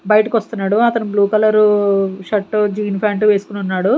బయటకి వస్తున్నాడు అతను blue colour shirt jean pant వేసుకొని ఉన్నాడు.